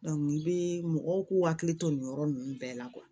i bɛ mɔgɔw k'u hakili to nin yɔrɔ ninnu bɛɛ la